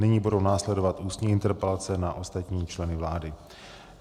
Nyní budou následovat ústní interpelace na ostatní členy vlády.